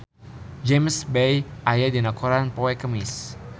James Bay aya dina koran poe Kemis